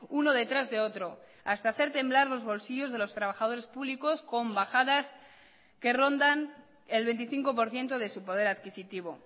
uno detrás de otro hasta hacer temblar los bolsillos de los trabajadores públicos con bajadas que rondan el veinticinco por ciento de su poder adquisitivo